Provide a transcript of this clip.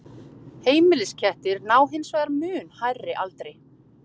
Heimiliskettir ná hins vegar mun hærri aldri.